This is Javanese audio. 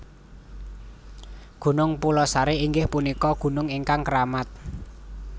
Gunung Pulosari inggih punika gunung ingkang keramat